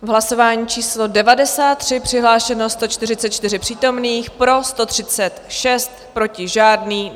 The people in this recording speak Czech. V hlasování číslo 93 přihlášeno 144 přítomných, pro 136, proti žádný.